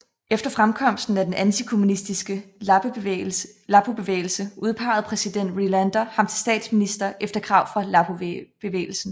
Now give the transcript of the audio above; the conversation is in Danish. Efter fremkomsten af den antikommunistiske Lappobevægelse udpegede præsident Relander ham til statsminister efter krav fra Lappobevægelsen